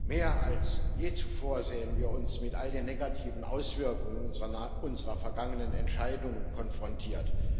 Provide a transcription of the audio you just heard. Mehr als je zuvor sehen wir uns mit all den negativen Auswirkungen unserer vergangenen Entscheidungen konfrontiert.